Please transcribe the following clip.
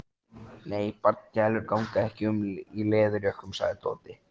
Nei, barnagælur ganga ekki um í leðurjökkum sagði Tóti.